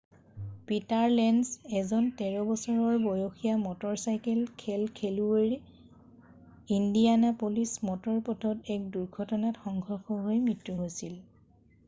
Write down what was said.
Peter Lenz এজন 13 বছৰ বয়সীয়া মটৰ চাইকেল খেল খেলুৱৈৰ ইণ্ডিয়ানাপলিছ মটৰ পথত এটা দুৰ্ঘটনাত সংঘৰ্ষ হৈ মৃত্যু হৈছিল